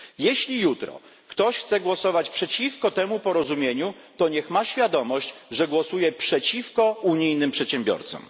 Jeśli jutro ktoś chce głosować przeciwko temu porozumieniu, to niech ma świadomość, że głosuje przeciwko unijnym przedsiębiorcom.